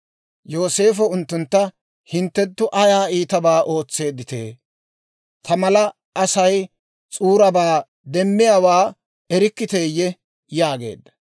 Yooseefo unttuntta, «hinttenttu ayaa iitabaa ootseeddite? Ta mala Asay s'uurabaa demmiyaawaa erikkiteeyye?» yaageedda.